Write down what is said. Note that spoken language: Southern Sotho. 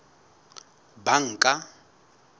banka